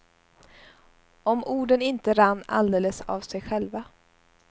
Om orden inte rann alldeles av sig själva.